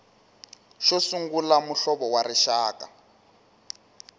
xo sungula muhlovo wa rixaka